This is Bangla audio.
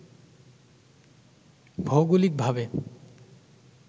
ভৌগোলিক ভাবে